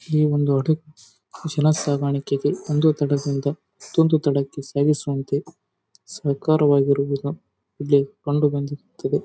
ಈ ಒಂದು ಹಡಗು ಕುಶಲಸಾಗಾಣಿಕೆಗೆ ಒಂದು ತಡದಿಂದ ಇನ್ನೊಂದು ತಡಕ್ಕೆ ಸಾಗಿಸುವಂತೆ ಸಹಕಾರವಾಗಿರುವುದು ಇಲ್ಲಿ ಕಂಡುಬಂದಿರುತ್ತದೆ.